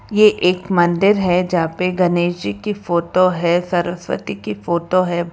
ये एक मंदिर है जहां पे गणेश जी की फोटो है सरस्वती की फोटो है।